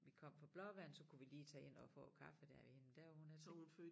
Vi kom fra Blåvand så kunne vi lige tage ind og få en kaffe der ved hende der hvor hun er så